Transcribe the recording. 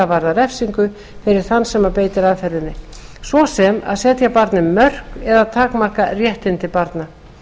varða refsingu fyrir þann sem beitir aðferðinni svo sem að setja barni mörk eða takmarka réttindi barna